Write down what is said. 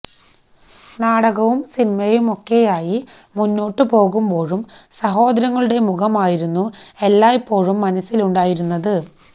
നാടകവും സിനിമയുമൊക്കെയായി മുന്നോട്ടു പോകുമ്പോഴും സഹോദരങ്ങളുടെ മുഖമായിരുന്നു എല്ലായ്പ്പോഴും മനസ്സിലുണ്ടായിരുന്നത്